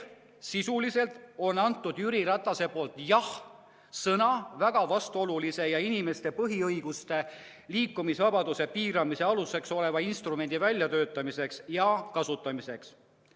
Sisuliselt on Jüri Ratas andnud jah-sõna väga vastuolulise ja inimeste põhiõiguste, näiteks liikumisvabaduse piiramise aluseks oleva instrumendi väljatöötamiseks ja kasutamiseks.